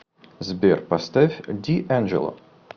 сбер поставь диэнджело